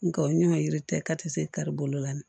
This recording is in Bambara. Nga o ɲɛ yiri tɛ kati kari bolo la